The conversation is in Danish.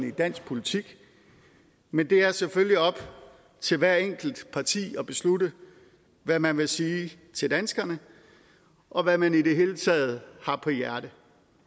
i dansk politik men det er selvfølgelig op til hvert enkelt parti at beslutte hvad man vil sige til danskerne og hvad man i det hele taget har på hjerte